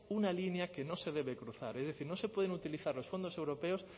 una línea que no se debe cruzar es decir no se pueden utilizar los fondos europeos